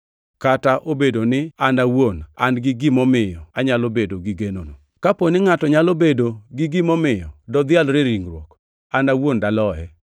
kata obedo ni an awuon an-gi gimomiyo anyalo bedo gi genono. Kapo ni ngʼato nyalo bedo gi gimomiyo dodhialre e ringruok, an awuon daloye: